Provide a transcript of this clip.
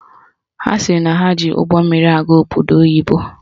Ha sịrị na ha ji ụgbọmmiri gaa obodo oyibo